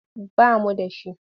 Ba mu da shi.